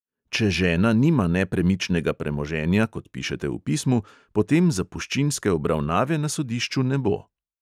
Če žena nima nepremičnega premoženja, kot pišete v pismu, potem zapuščinske obravnave na sodišču ne bo.